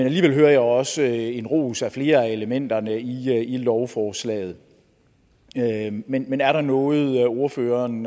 alligevel hører jeg også en ros af flere af elementerne i lovforslaget men er der noget ordføreren